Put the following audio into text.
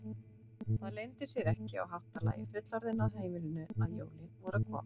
Það leyndi sér ekki á háttalagi fullorðinna á heimilinu að jólin voru að koma.